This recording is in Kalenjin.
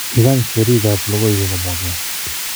Kany serii ab logoiwek kimwochkei.